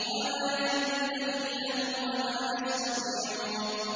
وَمَا يَنبَغِي لَهُمْ وَمَا يَسْتَطِيعُونَ